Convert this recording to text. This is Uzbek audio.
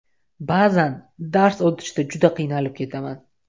Ba’zan dars o‘tishda juda qiynalib ketaman.